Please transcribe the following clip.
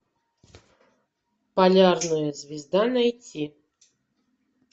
полярная звезда найти